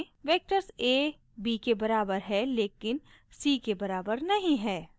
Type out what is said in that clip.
vectors a b के बराबर है लेकिन c के बराबर नहीं है